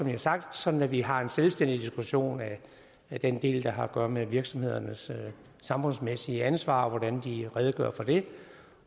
har sagt sådan at vi har en selvstændig diskussion af den del der har at gøre med virksomhedernes samfundsmæssige ansvar og hvordan de redegør for det